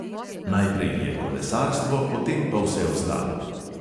Najprej je kolesarstvo, potem pa vse ostalo.